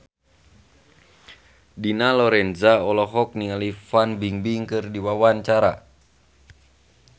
Dina Lorenza olohok ningali Fan Bingbing keur diwawancara